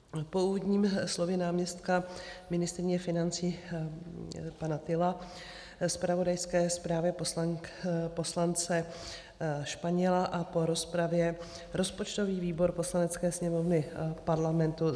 Po úvodním slově náměstka ministryně financí pana Tylla, zpravodajské zprávě poslance Španěla a po rozpravě rozpočtový výbor Poslanecké sněmovny Parlamentu